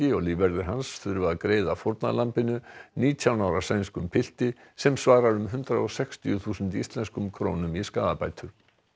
og lífverðir hans þurfa að greiða fórnarlambinu nítján ára sænskum pilti sem svarar um hundrað og sextíu þúsund íslenskum krónum í skaðabætur